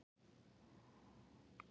Við áttum góð tækifæri til að skora.